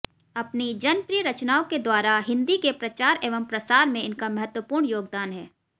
अपनी जनप्रिय रचनाओं के द्वारा हिन्दी के प्रचार एवं प्रसार में इनका महत्वपूर्ण योगदान है